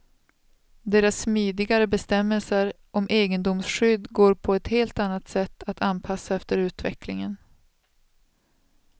Deras smidigare bestämmelser om egendomsskydd går på ett helt annat sätt att anpassa efter utvecklingen.